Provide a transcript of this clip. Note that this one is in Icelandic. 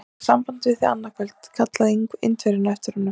Ég hef samband við þig annað kvöld! kallaði Indverjinn á eftir honum.